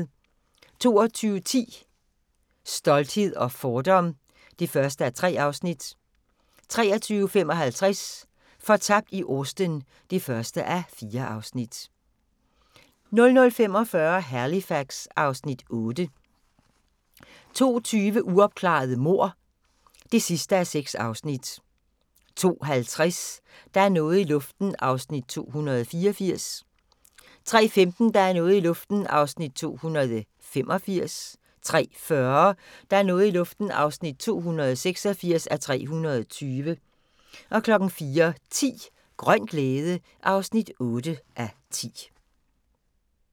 22:10: Stolthed og fordom (1:3) 23:55: Fortabt i Austen (1:4) 00:45: Halifax (Afs. 8) 02:20: Uopklarede mord (6:6) 02:50: Der er noget i luften (284:320) 03:15: Der er noget i luften (285:320) 03:40: Der er noget i luften (286:320) 04:10: Grøn glæde (8:10)